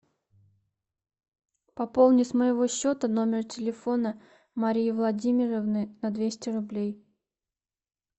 пополни с моего счета номер телефона марии владимировны на двести рублей